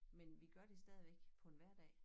Men vi gør det stadigvæk på en hverdag